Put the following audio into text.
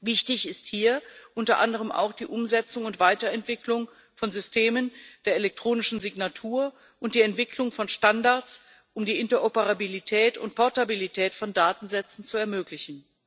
Wichtig ist hier unter anderem auch die Umsetzung und Weiterentwicklung von Systemen der elektronischen Signatur und die Entwicklung von Standards, um die Interoperabilität und Portabilität von Datensätzen zu ermöglichen.